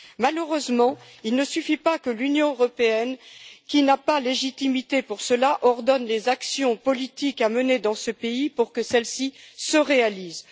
Malheureusement, il ne suffit pas que l'Union européenne, qui n'a pas légitimité pour cela, ordonne les actions politiques à mener dans ce pays pour que celles ci se réalisent.